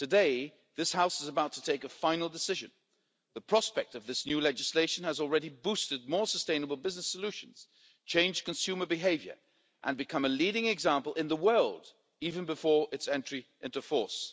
Today this House is about to take a final decision. The prospect of this new legislation has already boosted more sustainable business solutions, changed consumer behaviour and become a leading example in the world, even before its entry into force.